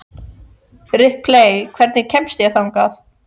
Ripley, hvernig kemst ég þangað?